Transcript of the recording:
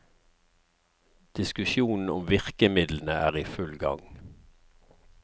Diskusjonen om virkemidlene er i full gang.